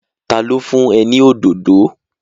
Ta ló fún ẹ ní òdòdó?